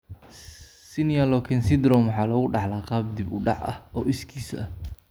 Senior Loken Syndrome waxa lagu dhaxlaa qaab dib-u-dhac ah oo iskiis ah.